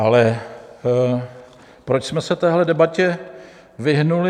Ale proč jsme se téhle debatě vyhnuli?